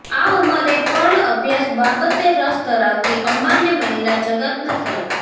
આ ઉંમરે પણ અભ્યાસ બાબતે રસ ધરાવતી અમ્માને મહિલા જગતના સલામ